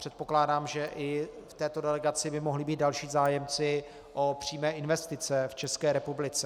Předpokládám, že i v této delegaci by mohli být další zájemci o přímé investice v České republice.